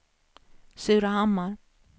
Surahammar